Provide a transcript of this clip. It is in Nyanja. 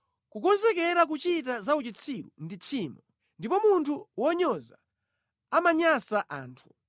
Kukonzekera kuchita za uchitsiru ndi tchimo, ndipo munthu wonyoza amanyansa anthu.